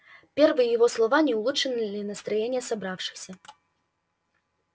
первые его слова не улучшили настроения собравшихся